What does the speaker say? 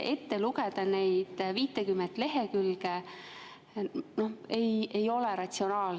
Ette lugeda neid 50 lehekülge ei ole ratsionaalne.